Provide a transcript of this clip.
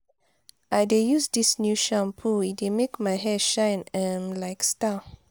i dey use dis new shampoo e dey make my hair shine um like star.